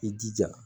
I jija